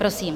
Prosím.